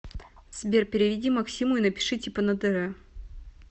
сбер переведи максиму и напиши типа на др